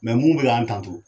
Mɛ mun be k'an kanto